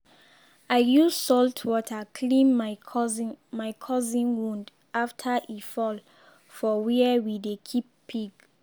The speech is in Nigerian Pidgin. i use salt water clean my cousin my cousin wound after e fall for where we dey keep pig